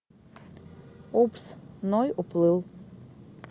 упс ной уплыл